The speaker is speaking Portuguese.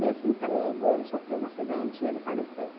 Nesse emprego, ele sofreu um acidente e ele faleceu.